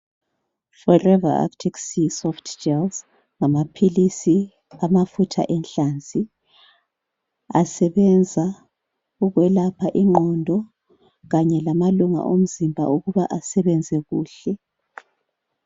Forever arctic sea soft gels, ngamaphilisi amafutha enhlanzi. Asebenza ukwelapha ingqondo kanye lamalunga omzimba ukuba asebenze kuhle.